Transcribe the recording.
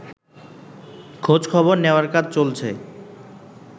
খোঁজখবর নেয়ার কাজ চলছে